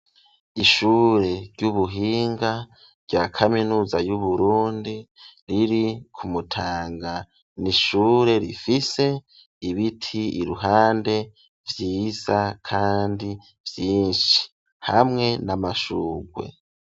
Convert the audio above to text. Ishure ry'ubuhinga rya kaminuza y'Uburundi riri ku Mutanga, n'ishure rifise ibiti iruhande vyiza kandi vyinshi hamwe n'amashugwe.